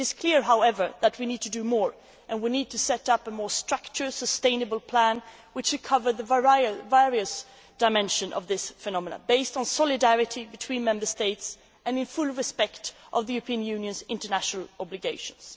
it is clear, however, that we need to do more. We need to set up a more structured, sustainable plan able to cover the various dimensions of this phenomenon, based on solidarity between Member States and in full respect of the European Union's international obligations.